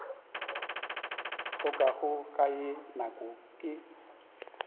hlokago ka ye nako ke